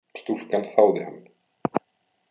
Stúlkan þáði hann.